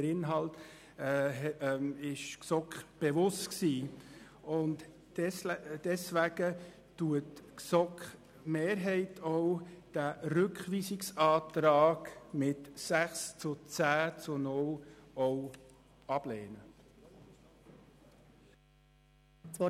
Der Inhalt war der GSoK bekannt, und deshalb lehnt die GSoK-Mehrheit den Rückweisungsantrag mit 6 Ja- zu 10 Nein-Stimmen bei 0 Enthaltungen ab.